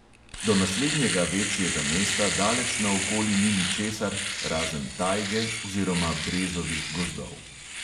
Do naslednjega večjega mesta daleč naokoli ni ničesar razen tajge oziroma brezovih gozdov.